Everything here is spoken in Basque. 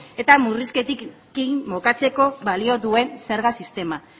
eta murrizketekin bukatzeko balio duen zerga sistema